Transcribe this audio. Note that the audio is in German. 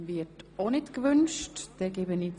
– Das wird auch nicht gewünscht.